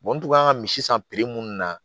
n tun kan ka misi san minnu na